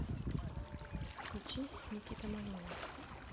включи никита малинин